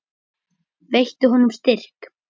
Veittu honum styrk.